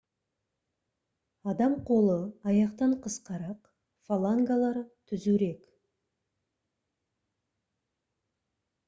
адам қолы аяқтан қысқарақ фалангалары түзурек